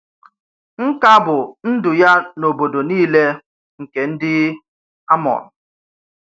Nkà bú ndu-ya n'obodo nile nkè ndi Àmon.